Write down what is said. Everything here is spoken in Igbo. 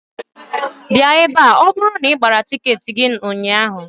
Bịạ ebe a ma ọ bụrụ na ị gbara tịketị gị ụnyạhụ